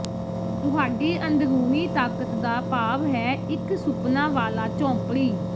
ਤੁਹਾਡੀ ਅੰਦਰੂਨੀ ਤਾਕਤ ਦਾ ਭਾਵ ਹੈ ਇਕ ਸੁਪਨਾ ਵਾਲਾ ਝੌਂਪੜੀ